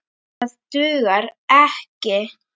Það dugar ekki.